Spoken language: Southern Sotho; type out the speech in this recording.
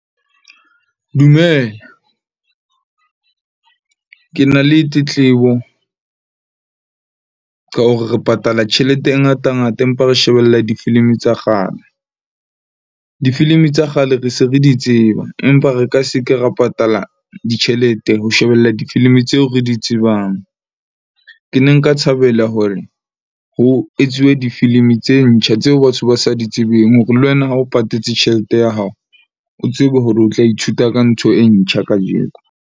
Dumela. Ke na le tetlebo ka hore re patala tjhelete e ngata ngata, empa re shebella difilimi tsa kgale. Difilimi tsa kgale re se re di tseba, empa re ka se ke ra patala ditjhelete ho shebella difilimi tseo re di tsebang. Ke ne nka thabela hore ho etsuwe difilimi tse ntjha tseo batho ba sa di tsebeng. Hore le wena ha o patetse tjhelete ya hao, o tsebe hore o tla ithuta ka ntho e ntjha kajeko.